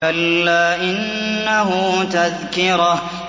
كَلَّا إِنَّهُ تَذْكِرَةٌ